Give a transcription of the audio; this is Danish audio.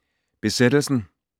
Besættelsen